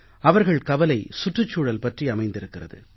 அவர்கள் கவலை சுற்றுச்சூழல் பற்றி அமைந்திருக்கிறது